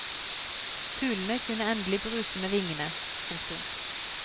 Fuglene kunne endelig bruse med vingene. punktum